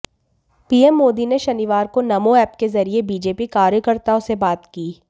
PM Modi ने शनिवार को नमो एप के जरिए बीजेपी कार्यकर्ताओं से बात की